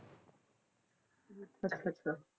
ਅੱਛਾ ਅੱਛਾ